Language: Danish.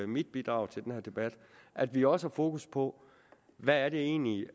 mit bidrag til den her debat at vi også har fokus på hvad det egentlig